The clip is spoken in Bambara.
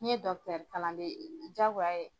N'i ye kalanden ye diyagoya ye